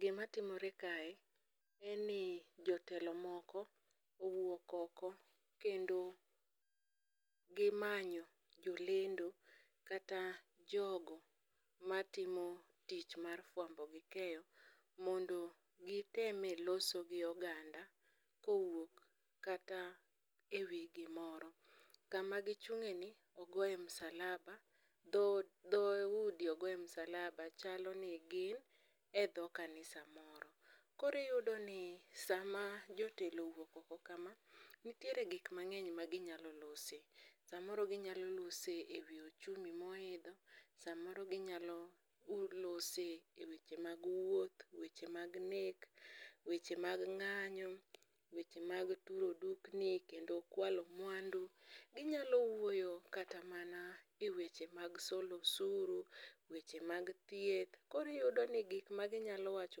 Gima timore kae en ni jotelo moko owuok oko kendo gimanyo jolendo kata jogo matimo tich mar fwambo gi keyo, mondo giteme loso gi oganda kowuok kata ewi gimoro. Kama gichung'e ni ogoye msalaba, dho udi ogoye msalaba, chalo ni gin e dho kanisa moro. Koriyudo ni sama jotelo owuok oko kama, nitiere gik mang'eny ma ginyalo lose. Samoro ginyalo lose ewi ochumi moidho, samoro ginyalo lose e weche mag wuoth, weche mag nek, weche mag ng'anyo. Weche mag turo dukni, kendo kwalo mwandu. Ginyalo wuoyo kata mana e weche mag solo osuru, weche mag thieth. Koriyudo ni gik ma ginyalo wacho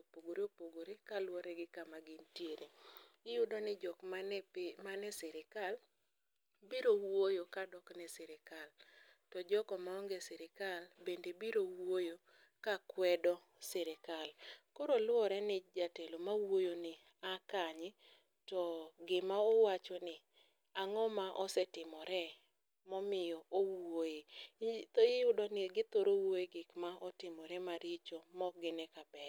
opogore opogore kaluwore gi kama gintiere. Iyudo ni jok mane pi, mane sirikal, biro wuoyo kadok ne sirikal. To joko maonge e sirikal bende biro wuoyo ka kwedo sirikal. Koro luwore ni jatelo ma wuoyo ni a kanye to gima owacho ni ang'o ma osetimore momiyo owuoye. Iyudo ni githoro wuoye gik ma otimore maricho ma ok gine ka beyo.